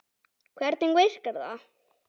Hvernig virkar það?